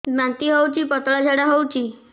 ବାନ୍ତି ହଉଚି ପତଳା ଝାଡା ହଉଚି